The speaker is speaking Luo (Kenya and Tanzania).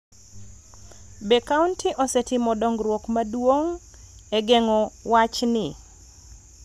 Be kaonti osetimo dongruok maduong� e geng�o wachni,